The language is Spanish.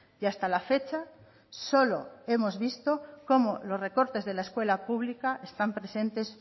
y hasta la fecha solo hemos visto cómo los recorte de la escuela pública están presentes